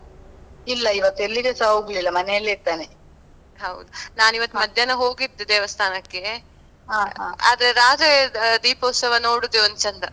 ಇಲ್ಲ ಇವತ್ ಎಲ್ಲಿಗ್ಸಾ ಹೋಗ್ಲಿಲ್ಲ, ಮನೇಲಿ ಇದ್ದೇನೆ.